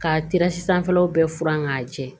Ka teresi sanfɛlaw bɛɛ furan k'a jɛ